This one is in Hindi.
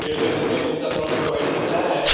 खेत का नीचे के हिस्सा थोड़ा थोड़ा व्हाइट दिख रहा है।